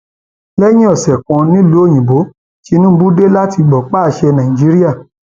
lẹyìn ọsẹ kan nìlùú òyìnbó tìǹbù dé láti gbọpá àṣẹ nàíjíríà